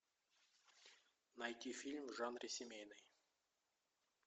найти фильм в жанре семейный